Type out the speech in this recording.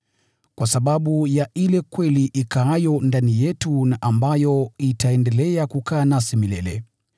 kwa sababu ya ile kweli ikaayo ndani yetu na ambayo itaendelea kukaa nasi milele: